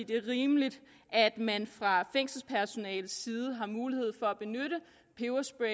det er rimeligt at man fra fængselspersonalets side har mulighed for at benytte peberspray